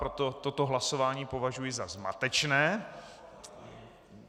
Proto toto hlasování prohlašuji za zmatečné.